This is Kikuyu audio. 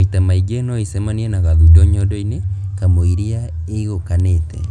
Maita maingĩ, noĩcemanie na gathundo nyondo-inĩ kamũiria ĩiguĩkanĩte